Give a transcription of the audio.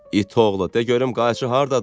İt oğlu, de görüm qayçı hardadır?